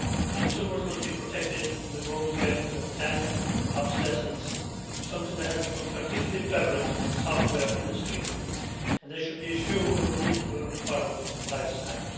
Consumers must be protected from the growing trend of planned obsolescence, something that has become particularly prevalent in the software industry, and they should be assured of a reasonable product lifespan.